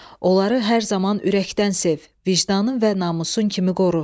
Onları hər zaman ürəkdən sev, vicdanın və namusun kimi qoru.